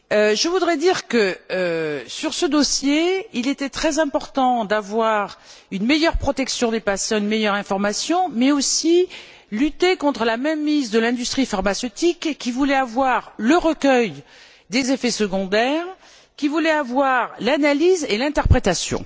Je voudrais dire que, sur ce dossier, il était très important d'avoir une meilleure protection des patients, une meilleure information, mais aussi de lutter contre la mainmise de l'industrie pharmaceutique qui voulait avoir le recueil des effets secondaires, qui voulait avoir l'analyse et l'interprétation.